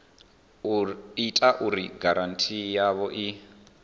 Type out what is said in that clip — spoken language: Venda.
ita uri giranthi yavho i